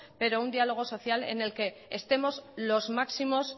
pero un dialogo social en el que estemos los máximos